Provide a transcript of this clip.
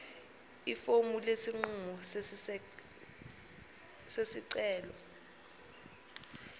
ifomu lesinqumo sesicelo